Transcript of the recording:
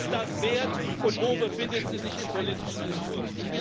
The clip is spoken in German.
Was ist das wert, und wo befindet sie sich im politischen Diskurs?